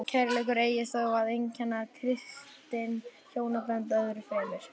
Kærleikur eigi þó að einkenna kristin hjónabönd öðru fremur.